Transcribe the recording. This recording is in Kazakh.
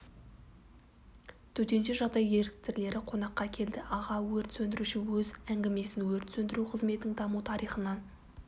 төтенше жағдай еріктілері қонаққа келді аға өрт сөндіруші өз әңгімесін өрт сөндіру қызметінің даму тарихынан